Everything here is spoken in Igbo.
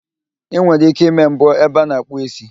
Ị nwere ike ịme mbọ ebe a na-akpụ ísí